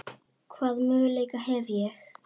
Hvaða möguleika hef ég?